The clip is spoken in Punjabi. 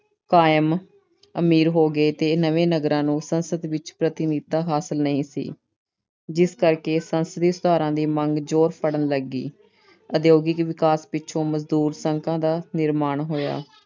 ਕਾਇਮ ਅਮੀਰ ਹੋ ਗਏ ਤੇ ਨਵੇਂ ਨਗਰਾਂ ਨੂੰ ਸੰਸਦ ਵਿੱਚ ਪ੍ਰਤੀਨਿਧਤਾ ਹਾਸਲ ਨਹੀਂ ਸੀ। ਜਿਸ ਕਰਕੇ ਸੰਸਦੀ ਸੁਧਾਰਾਂ ਦੀ ਮੰਗ ਜੋਰ ਫੜਨ ਲੱਗੀ। ਉਦਯੋਗਿਕ ਵਿਕਾਸ ਪਿੱਛੋਂ ਮਜ਼ਦੂਰ ਸੰਘਾਂ ਦਾ ਨਿਰਮਾਣ ਹੋਇਆ।